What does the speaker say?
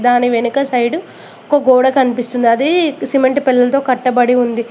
దాని వెనక సైడు ఒక గోడ కనిపిస్తుంది అదీ సిమెంట్ పిల్లల్తో కట్టబడి ఉంది.